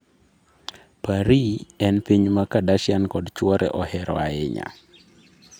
Paris en boma ma Kardashian kod chuore ohero ahinya.